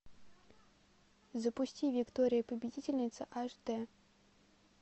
запусти виктория победительница аш дэ